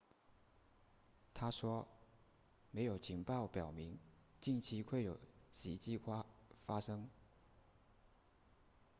她说没有情报表明近期会有袭击发生